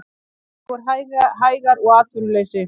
Dregur hægar úr atvinnuleysi